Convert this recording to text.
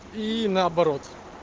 и наоборот